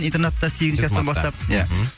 интернеатта сегізінші кластан бастап